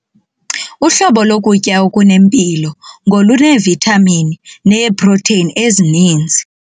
Uhlobo lokutya okunempilo ngoluneevithamini neeprotheyini ezininzi.